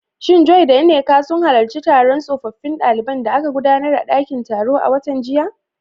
Shin Joy da Nneka sun halarci taron tsofaffin daliban da aka gudanar a dakin taro a watan jiya?